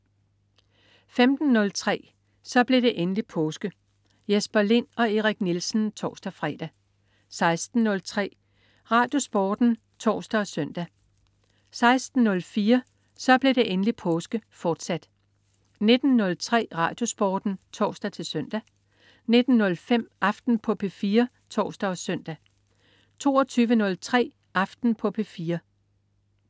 15.03 Så blev det endelig påske. Jesper Lind og Erik Nielsen (tors-fre) 16.03 RadioSporten (tors og søn) 16.04 Så blev det endelig påske, fortsat 19.03 RadioSporten (tors-søn) 19.05 Aften på P4 (tors og søn) 22.03 Aften på P4